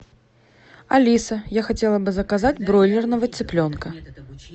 алиса я хотела бы заказать бройлерного цыпленка